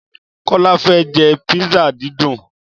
Kólá fẹ́ jẹ písà dídùn.